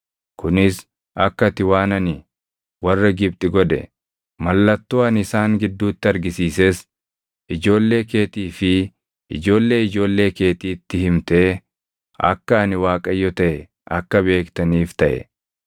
kunis akka ati waan ani warra Gibxi godhe, mallattoo ani isaan gidduutti argisiises ijoollee keetii fi ijoollee ijoollee keetiitti himtee akka ani Waaqayyo taʼe akka beektaniif taʼe.”